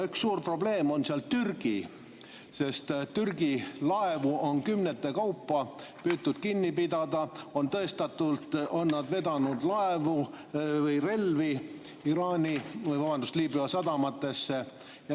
Üks suur probleem on Türgi, kelle laevu on kümnete kaupa püütud kinni pidada, sest tõestatult on nad vedanud relvi Liibüa sadamatesse.